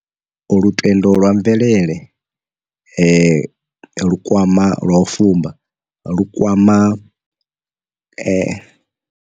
Lutendo lwa mvelele lu kwama lwa u fumba lu kwama.